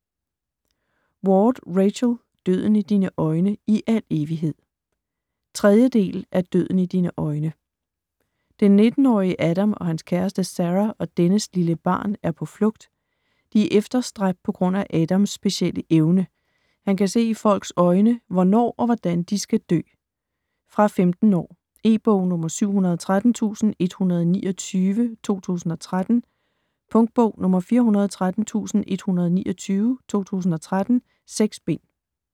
Ward, Rachel: Døden i dine øjne - i al evighed 3. del af Døden i dine øjne. Den 19-årige Adam og hans kæreste Sarah og dennes lille barn er på flugt. De er efterstræbt på grund af Adams specielle evne: Han kan se i folks øjne, hvornår og hvordan de skal dø. Fra 15 år. E-bog 713129 2013. Punktbog 413129 2013. 6 bind.